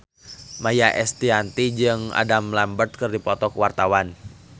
Maia Estianty jeung Adam Lambert keur dipoto ku wartawan